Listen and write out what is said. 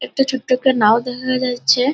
একটা ছোট্ট একটা নাও দেখা যাচ্ছে।